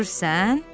Görürsən?